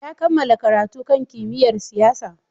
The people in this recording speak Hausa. Ya kammala karatu kan kimiyyar siyasa.